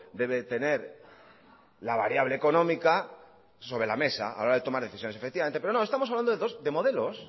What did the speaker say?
debe de tener la variable económica sobre la mesa a la hora de tomar decisiones efectivamente pero no estamos hablando